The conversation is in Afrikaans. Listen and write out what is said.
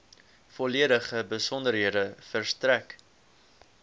volledige besonderhede verstrek